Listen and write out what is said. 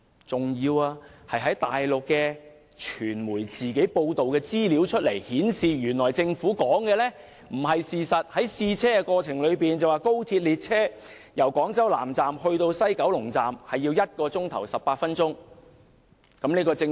此外，大陸傳媒報道顯示，原來政府的說法並非事實，高鐵列車在試車期間，由廣州南站至西九龍站需時1小時18分鐘。